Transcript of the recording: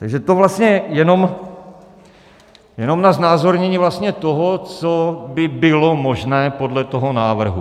Takže to vlastně jenom na znázornění toho, co by bylo možné podle toho návrhu.